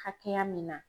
Hakɛya min na